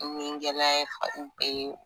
Nigɛlɛya ye bɛ ye